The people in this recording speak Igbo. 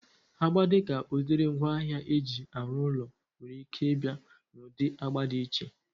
Agba dịka udiri ngwaahịa eji arụ ụlọ nwere ike ịbịa na ụdị agba dị iche